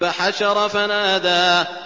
فَحَشَرَ فَنَادَىٰ